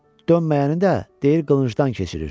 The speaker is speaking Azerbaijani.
Dönməyəni də deyir qılıncdan keçirir.